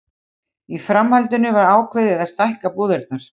Í framhaldinu var ákveðið að stækka búðirnar.